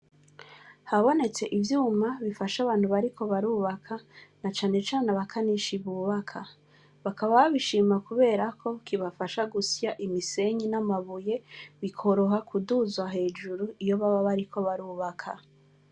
Habonetse ivyuma bifasha abantu bariko barubaka, na cane cane abakanishi bubaka. Bakaba babishima kuberako kibafasha gusya imisenyi n'amabuye, bikoroha kuduzwa hejuru, iyo baba bariko barubaka.